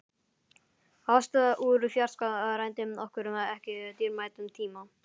Ást úr fjarska rændi okkur ekki dýrmætum tíma.